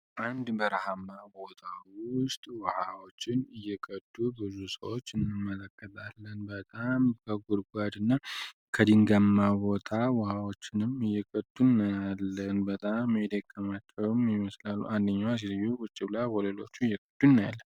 አንድ በረሃማ ቦታ ውስጥ ውሃዎችን እየቀዱ ብዙ ሰዎች እንመለከጣለን በጣም በጉድጓድ እና ከዲንጋማ ቦታ ውሃዎችንም እይቀቱን ያለን በጣም ሜዲየካማቸውም ሚመስላሉ አንድኛዋ ቁጭ ብላ ሌሎቹ እየቀዱ እናያለን።